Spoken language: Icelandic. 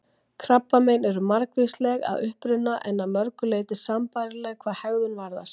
Krabbamein eru margvísleg að uppruna, en að mörgu leyti sambærileg hvað hegðun varðar.